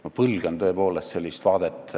Ma põlgan tõepoolest sellist vaadet.